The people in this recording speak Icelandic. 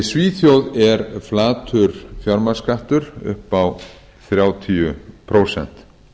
í svíþjóð er flatur fjármagnsskattur upp á þrjátíu prósent